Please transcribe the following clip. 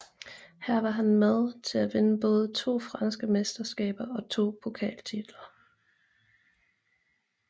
Her var han med til at vinde både to franske mesterskaber og to pokaltitler